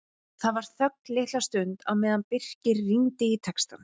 Það var þögn litla stund á meðan Birkir rýndi í textann.